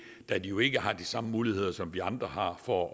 da de jo ikke har de samme muligheder som vi andre har for